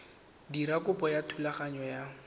dira kopo ya thulaganyo ya